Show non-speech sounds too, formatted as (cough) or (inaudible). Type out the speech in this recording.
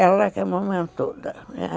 Ela que é amamentou (unintelligible)